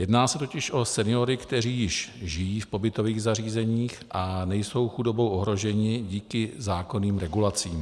Jedná se totiž o seniory, kteří již žijí v pobytových zařízeních a nejsou chudobou ohroženi díky zákonným regulacím.